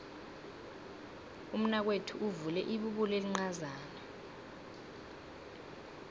umnakwethu uvule ibubulo elincazana